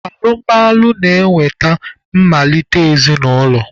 Alụmalụ na-eweta ị malite ezinaụlọ